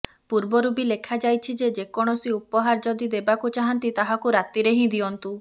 ପୂର୍ବରୁ ବି ଲେଖାଯାଇଛି ଯେ ଯେକୌଣସି ଉପହାର ଯଦି ଦେବାକୁ ଚାହାନ୍ତି ତାହାକୁ ରାତିରେ ହିଁ ଦିଅନ୍ତୁ